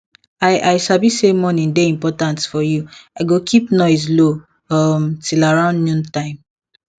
i i sabi say morning dey important for you i go keep noise low um till around noon time